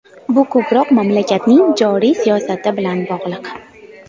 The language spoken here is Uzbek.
Bu ko‘proq mamlakatning joriy siyosati bilan bog‘liq.